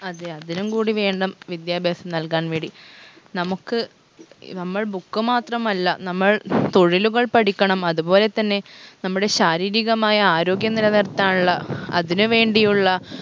അതെ അതിനും കൂടി വേണം വിദ്യാഭ്യാസം നല്കാൻ വേണ്ടി നമുക്ക് നമ്മൾ book മാത്രമല്ല നമ്മൾ തൊഴിലുകൾ പഠിക്കണം അതുപോലെ തന്നെ നമ്മുടെ ശാരീരികമായ ആരോഗ്യം നിലനിർത്താനുള്ള അതിനു വേണ്ടിയുള്ള